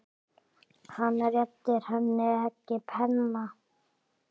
Hann réttir henni ekki penna.